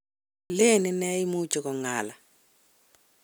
len ine imuchi kong'ala.